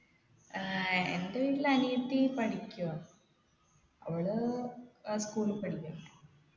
ഏർ എൻെറ വീട്ടിൽ അനിയത്തി പഠിക്കുആ അവള് ഏർ school ൽ പഠിക്കുആ